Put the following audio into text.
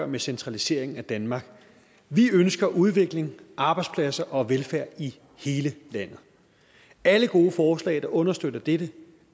med centraliseringen af danmark vi ønsker udvikling arbejdspladser og velfærd i hele landet alle gode forslag der understøtter dette